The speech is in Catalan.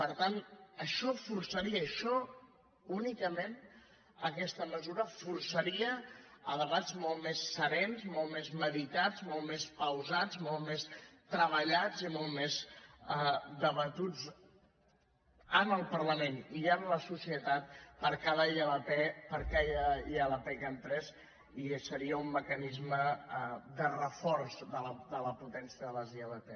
per tant això forçaria això únicament aquesta mesura debats molt més serens molt més meditats molt més pausats molt més treballats i molt més debatuts en el parlament i en la societat per a cada ilp que entrés i seria un mecanisme de reforç de la potència de les ilp